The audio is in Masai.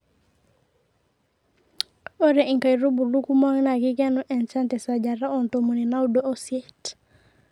ore inkaitubulu kumok naa kikenu enchan te sajata oo ntomoni naudo oisiet